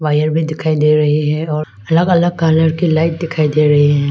Air भी दिखाई दे रही है और अलग अलग कलर की लाइट दिखाई दे रहे हैं।